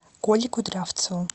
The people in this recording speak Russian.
колей кудрявцевым